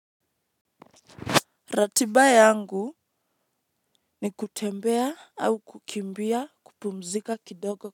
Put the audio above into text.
Ratiba yangu ni kutembea au kukimbia kupumzika kidogo.